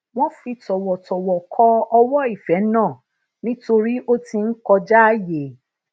wón fi tòwòtòwò ko owo ife naa nítorí o ti n kojaaye